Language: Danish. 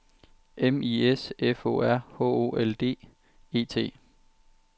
M I S F O R H O L D E T